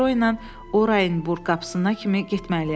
Metro ilə Orayenburq qapısına kimi getməliyəm.